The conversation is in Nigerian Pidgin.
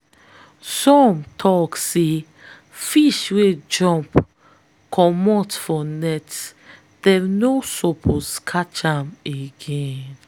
some tok say fish wey jump comot for net them no suppose catch am again.